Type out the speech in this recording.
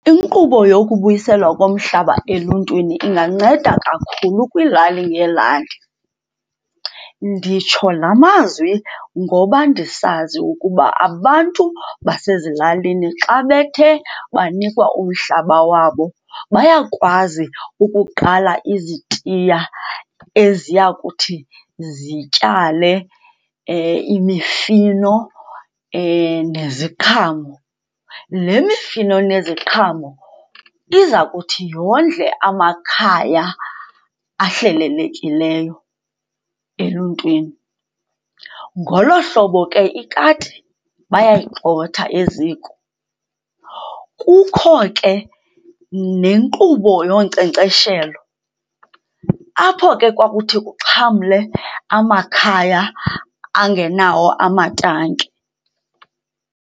Inkqubo yokubuyiselwa komhlaba eluntwini inganceda kakhulu kwiilali ngeelali. Nditsho la mazwi ngoba ndisazi ukuba abantu basezilalini xa bethe banikwa umhlaba wabo bayakwazi ukuqala izitiya eziya kuthi zityale imifino neziqhamo. Le mifino neziqhamo iza kuthi yondle amakhaya ahlelelekileyo eluntwini. Ngolo hlobo ke ikati bayayigxotha eziko. Kukho ke nenkqubo yonkcenkceshelo apho ke kwakuthi kuxhamle amakhaya angenawo amatanki.